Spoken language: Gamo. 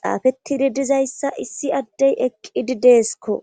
xaafetidi dizayssa issi addey eqqidi deeskko